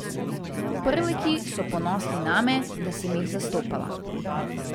Prleki so ponosni name, da sem jih zastopala.